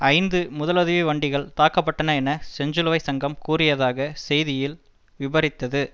ஐந்து முதலுதவி வண்டிகள் தாக்கப்பட்டன என செஞ்சிலுவை சங்கம் கூறியதாக செய்தியில் விபரித்தது